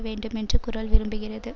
வேண்டும் என்று குரல் விரும்புகிறது